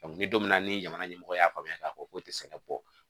ni don min na ni jamana ɲɛmɔgɔ y'a faamuya k'a fɔ k'o tɛ sɛnɛ bɔ